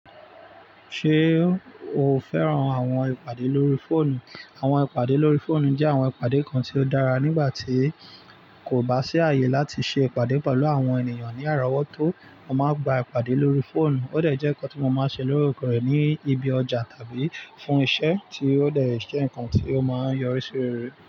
Ṣé o fẹ́ràn àwọn ìpàdé lórí fóònù? Àwọn ìpàdé lórí fóònù jẹ́ àwọn ìpàdé kan tí ó dára nígbà tí kò bá sí àyè láti ṣe ìpàdé pẹ̀lú àwọn ènìyàn ní àràwọ̀ tó, a máa gbà ìpàdé lórí fóònù. Ó dẹ̀ jẹ́ nǹkan tí mo máa ń ṣe lórekore ní ibi ọjà tàbí fún iṣẹ́ tí ó dẹ̀ jẹ́ ǹkan tí ó máa ń yọrí sí rerẹ̀.